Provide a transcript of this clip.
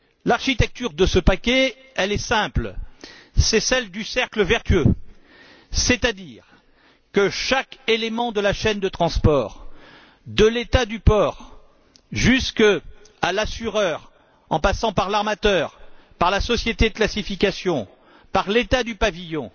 L'architecture de ce paquet est simple c'est celle du cercle vertueux, où chaque élément de la chaîne de transport de l'État du port jusqu'à l'assureur, en passant par l'armateur, la société de classification et l'État du pavillon